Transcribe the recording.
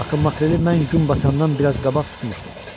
Axı makreli mən gün batandan biraz qabaq tutmuşdum.